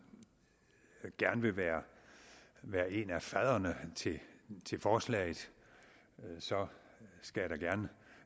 gerne vil være være en af fadderne til til forslaget skal jeg da gerne